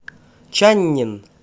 чаннин